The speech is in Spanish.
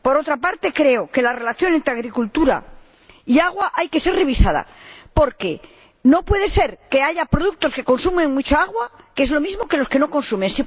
Por otra parte, creo que la relación entre agricultura y agua ha de ser revisada, porque no puede ser que haya productos que consumen mucha agua y se traten como los que no consumen.